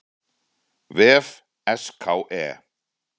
vef SKE.